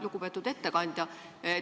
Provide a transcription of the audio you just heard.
Lugupeetud ettekandja!